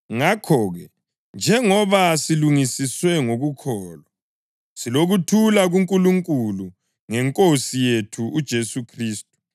Ngakho-ke, njengoba silungisiswe ngokukholwa, silokuthula kuNkulunkulu ngeNkosi yethu uJesu Khristu,